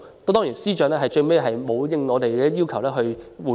當然，司長沒有就我們的要求作出回應。